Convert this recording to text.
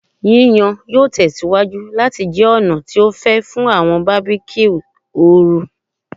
Yiyan yoo tẹsiwaju lati jẹ ọna ti o fẹ fun awọn barbecues ooru